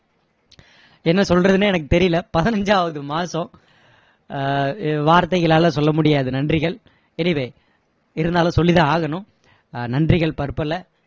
என்ன சொல்றதுன்னே எனக்கு தெரியல பதினைஞ்சாவது மாசம் ஆஹ் வார்த்தைகளால சொல்ல முடியாத நன்றிகள் anyway இருந்தாலும் சொல்லி தான் ஆகணும் நன்றிகள் பற்பல